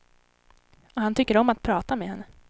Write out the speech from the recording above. Och han tycker om att prata med henne.